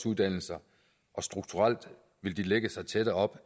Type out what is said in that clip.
uddannelser og strukturelt vil de lægge sig tættere op